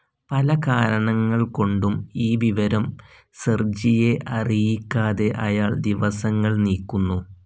പലകാരണങ്ങൾകൊണ്ടും ഈ വിവരം സെർജിയെ അറിയിക്കാതെ അയാൾ ദിവസങ്ങൾ നീക്കുന്നു.